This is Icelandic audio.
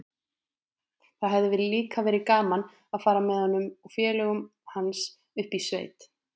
Það hefði líka verið gaman að fara með honum og félögum hans upp í sveit.